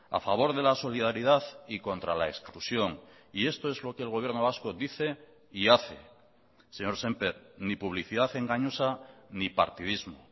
a favor de la solidaridad y contra la exclusión y esto es lo que el gobierno vasco dice y hace señor sémper ni publicidad engañosa ni partidismo